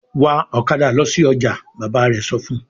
"Wa ọ̀kadà lọ sí ọjà!" Bàbá rẹ̀ sọ fún un.